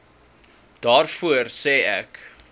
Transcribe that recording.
daarvoor sê ek